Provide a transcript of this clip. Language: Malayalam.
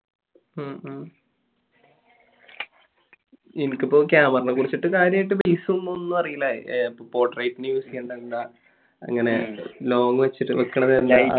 മ് മ് എനിക്കിപ്പോൾ camera നെ കുറിച്ചിട്ട് കാര്യമായിട്ട് base ഒന്നും അറിയില്ല അങ്ങനെ long വെച്ചിട്ട് വെക്കണതെന്താ